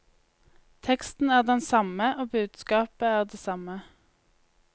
Teksten er den samme og budskapet er det samme.